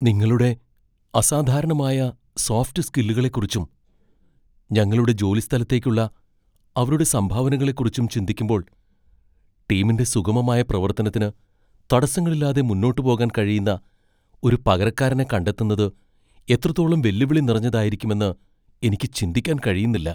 നിങ്ങളുടെ അസാധാരണമായ സോഫ്റ്റ് സ്കില്ലുകളെക്കുറിച്ചും ഞങ്ങളുടെ ജോലിസ്ഥലത്തേക്കുള്ള അവരുടെ സംഭാവനകളെക്കുറിച്ചും ചിന്തിക്കുമ്പോൾ, ടീമിന്റെ സുഗമമായ പ്രവത്തനത്തിന് തടസ്സങ്ങളില്ലാതെ മുന്നോട്ട് പോകാൻ കഴിയുന്ന ഒരു പകരക്കാരനെ കണ്ടെത്തുന്നത് എത്രത്തോളം വെല്ലുവിളി നിറഞ്ഞതായിരിക്കുമെന്ന് എനിക്ക് ചിന്തിക്കാൻ കഴിയുന്നില്ല.